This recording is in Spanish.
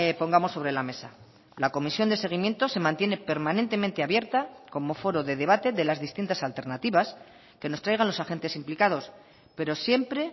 pongamos sobre la mesa la comisión de seguimiento se mantiene permanentemente abierta como foro de debate de las distintas alternativas que nos traigan los agentes implicados pero siempre